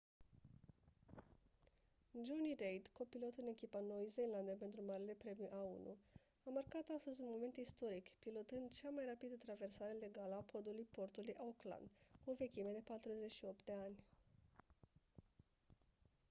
jonny reid copilot în echipa noii zeelande pentru marele premiu a1 a marcat astăzi un moment istoric pilotând cea mai rapidă traversare legală a podului portului auckland cu o vechime de 48 de ani